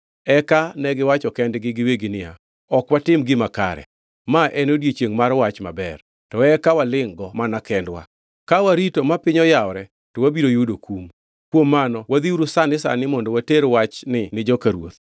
Eka negiwacho kendgi giwegi niya, “Ok watim gima kare. Ma en odiechiengʼ mar wach maber, to eka walingʼ-go mana kendwa. Ka warito ma piny oyawore, to wabiro yudo kum. Kuom mano wadhiuru sani sani mondo water wachni ni joka ruoth.”